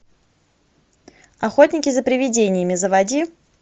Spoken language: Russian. охотники за привидениями заводи